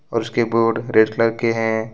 और उसके board red colour के हैं।